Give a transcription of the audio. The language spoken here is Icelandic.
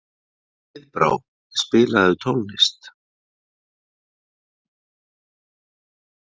Heiðbrá, spilaðu tónlist.